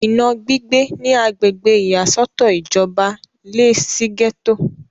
ìná gbígbé ní agbègbè ìyàsọ́tọ̀ ìjọba lé e sí gẹ́tò